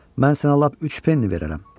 Mən sənə lap üç penni verərəm.